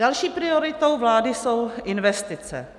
Další prioritou vlády jsou investice.